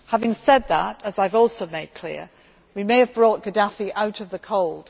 Having said that, as I have also made clear, we may have brought Gaddafi out of the cold.